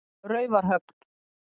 Raufarhöfn